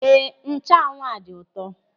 Éè, nchanwụ a dị ụtọ.